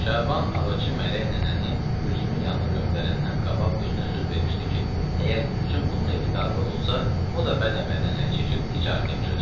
Şaban ağılçı mələk nənəni Gülsümün yanına göndərəndən qabaq özünə söz vermişdi ki, əgər Gülsüm bunun evində arvad olsa, o da bəd əməldən əl çəkib ticarətə yapışacaq.